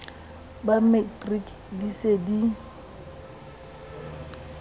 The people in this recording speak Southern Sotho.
ba matriki di se di